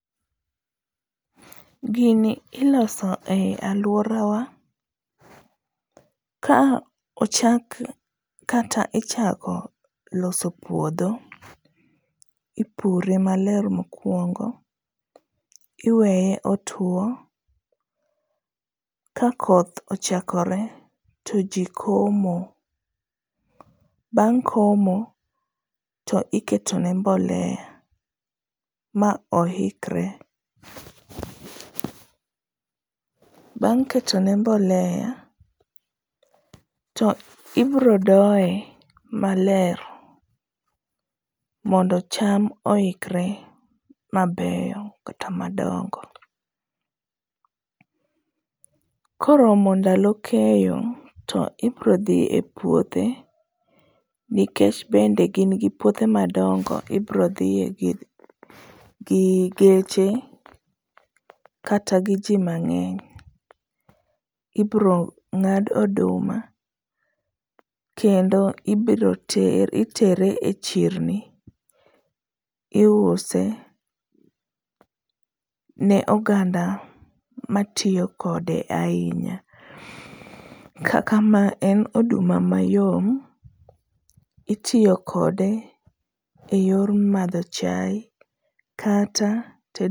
Gini iloso e alworawa ka ochak kata ichako loso puodho, ipure maler mokwongo, iweye otuwo, ka koth ochakore to ji komo, bang' komo, to iketone mbolea ma oikre. Bang' ketone mbolea to ibiro doye maler mondo cham oikre mabeyo kata madongo. Koromo ndalo keyo to ibiro dhi e puothe nikech bende gin gi puothe madongo, ibiro dhiye gi geche kata gi ji mang'eny, ibiro ng'ad oduma, kendo ibiro ter e chirni, iuse ne oganda matiyo kode ahinya. Kaka ma en oduma mayom ,itiyo kode e yor madho chaye, kata tedo